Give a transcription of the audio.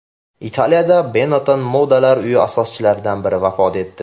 Italiyada Benetton modalar uyi asoschilaridan biri vafot etdi.